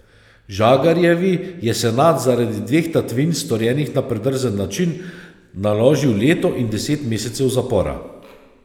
Žagarjevi je senat zaradi dveh tatvin, storjenih na predrzen način, naložil leto in deset mesecev zapora.